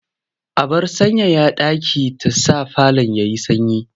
Abar sanyaya ɗaki ta sa falon ya yi sanyi.